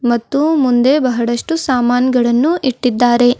ಮತ್ತು ಮುಂದೆ ಬಹಳಷ್ಟು ಸಾಮಾನ್ ಗಳನ್ನು ಇಟ್ಟಿದ್ದಾರೆ.